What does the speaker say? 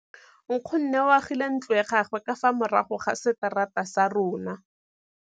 Nkgonne o agile ntlo ya gagwe ka fa morago ga seterata sa rona.